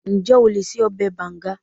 Ǹjẹ́ o lè ṣe ọbẹ̀ bànga?